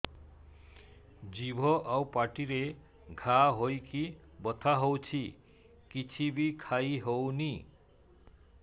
ଜିଭ ଆଉ ପାଟିରେ ଘା ହେଇକି ବଥା ହେଉଛି କିଛି ବି ଖାଇହଉନି